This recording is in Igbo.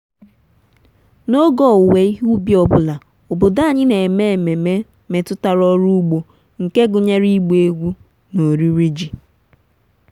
ịzụta ngwaọrụ ugbo ugbo bụ itinye ego n'oge gị ume gị na ọganihu ugbo gị n'ọdịnihu.